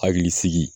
Hakili sigi